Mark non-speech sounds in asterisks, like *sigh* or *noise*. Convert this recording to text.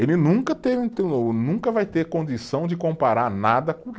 Ele nunca tem, *unintelligible* nunca vai ter condição de comparar nada *unintelligible*